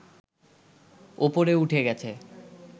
ওপরে উঠে গেছে